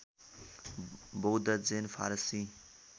बौद्ध जैन फारसी